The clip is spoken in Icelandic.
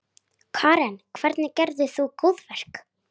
Karen: Hvernig gerðir þú góðverk?